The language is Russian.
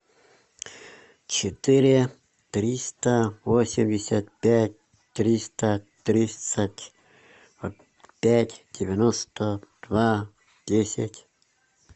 четыре триста восемьдесят пять триста тридцать пять девяносто два десять